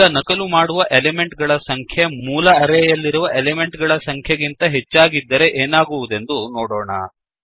ಈಗ ನಕಲು ಮಾಡುವ ಎಲಿಮೆಂಟ್ ಗಳ ಸಂಖ್ಯೆ ಮೂಲ ಅರೇಯಲ್ಲಿರುವ ಎಲಿಮೆಂಟ್ ಗಳ ಸಂಖ್ಯೆ ಗಿಂತ ಹೆಚ್ಚಾಗಿದ್ದರೆ ಏನಾಗುವುದೆಂದು ನೋಡೋಣ